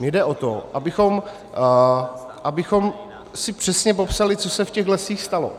Mně jde o to, abychom si přesně popsali, co se v těch lesích stalo.